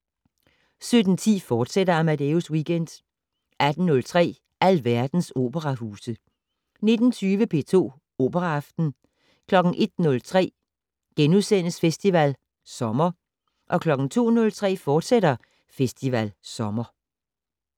17:10: Amadeus Weekend, fortsat 18:03: Alverdens operahuse 19:20: P2 Operaaften 01:03: Festival Sommer * 02:03: Festival Sommer, fortsat